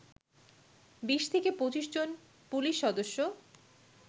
২০ থেকে ২৫ জন পুলিশ সদস্য